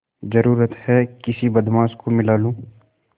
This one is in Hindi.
जरुरत हैं किसी बदमाश को मिला लूँ